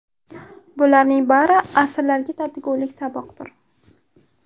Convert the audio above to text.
Bularning bari asrlarga tatigulik saboqdir.